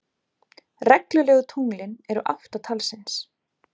Reglulegu tunglin eru átta talsins.